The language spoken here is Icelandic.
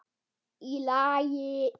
Í lagi?